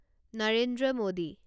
Narendra Modi